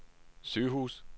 sygehus